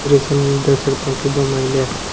दृश्य में देख सकते हैं कि दो महिले--